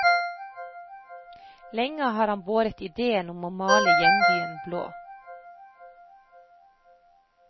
Lenge har han båret idéen om å male hjembyen blå.